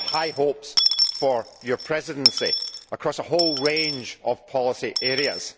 We have high hopes for your Presidency across a whole range of policy areas.